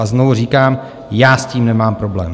A znovu říkám - já s tím nemám problém.